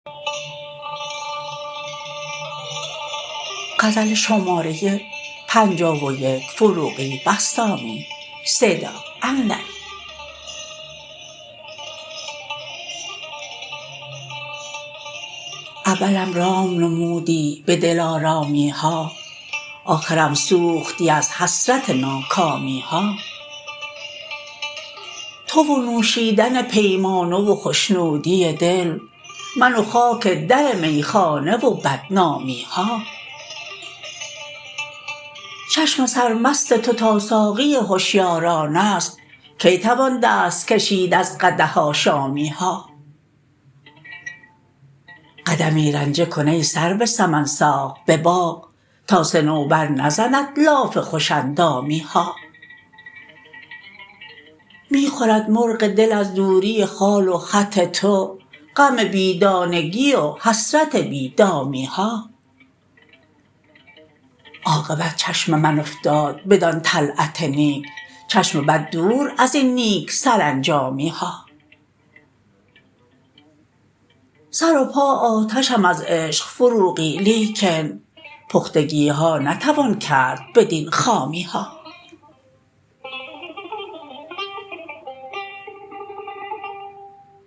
اولم رام نمودی به دل آرامی ها آخرم سوختی از حسرت ناکامی ها تو و نوشیدن پیمانه و خشنودی دل من وخاک در می خانه و بدنامی ها چشم سر مست تو تا ساقی هشیاران است کی توان دست کشید از قدح آشامی ها قدمی رنجه کن ای سرو سمن ساق به باغ تاصنوبر نزند لاف خوش اندامی ها می خورد مرغ دل از دوری خال و خط تو غم بی دانگی و حسرت بی دامی ها عاقبت چشم من افتاد بدان طلعت نیک چشم بد دور از این نیک سرانجامی ها سر و پا آتشم از عشق فروغی لیکن پختگی ها نتوان کرد بدین خامی ها